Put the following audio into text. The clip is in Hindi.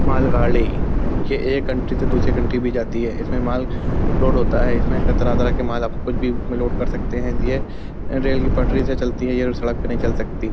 मालगाड़ीयह एक कंट्री से दुसरे कंट्री भी जाती है। इसमें माल लोड होता है। इसमें क तरह-तरह के माल आप कुछ भी इसमें लोड कर सकते हैं। यह रेल की पटरी से चलती है। यह सड़क पर नही चल सकती।